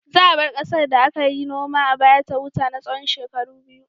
Za a bar ƙasar da aka yi noma a baya ta huta na tsawon shekaru biyu.